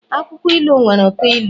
akwukwo ilu nwere uto ilu